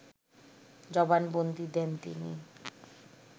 জবানবন্দি দেন তিনি